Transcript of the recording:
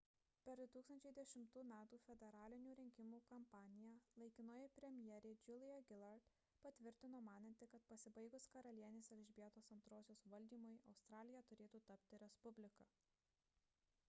per 2010 m federalinių rinkimų kampaniją laikinoji premjerė julia gillard patvirtino mananti kad pasibaigus karalienės elžbietos ii valdymui australija turėtų tapti respublika